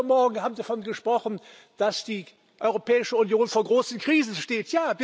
Heute Morgen haben Sie davon gesprochen, dass die Europäische Union vor großen Krisen steht.